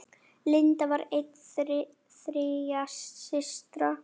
Linda var ein þriggja systra.